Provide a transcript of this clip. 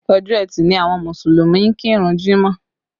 Ọjọ́ ẹtì ni àwọn Mùsùlùmí ń kírun jímọ̀